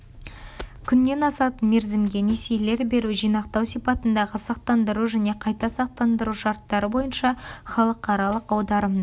күннен асатын мерзімге несиелер беру жинақтау сипатындағы сақтандыру және қайта сақтандыру шартары бойынша халықаралық аударымдар